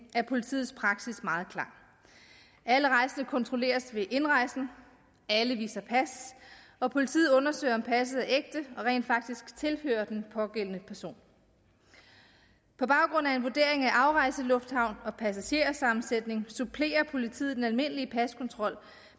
er politiets praksis meget klar alle rejsende kontrolleres ved indrejsen alle viser pas og politiet undersøger om passet er ægte og rent faktisk tilhører den pågældende person på baggrund af en vurdering af afrejselufthavn og passagersammensætning supplerer politiet den almindelige paskontrol